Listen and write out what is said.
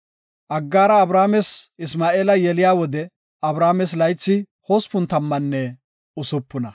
Aggaara Abrames Isma7eela yeliya wode Abrames laythi hospun tammanne usupuna.